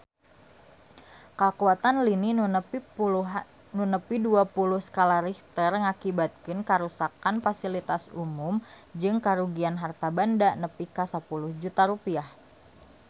Kakuatan lini nu nepi dua puluh skala Richter ngakibatkeun karuksakan pasilitas umum jeung karugian harta banda nepi ka 10 juta rupiah